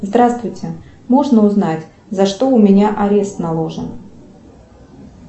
здравствуйте можно узнать за что у меня арест наложен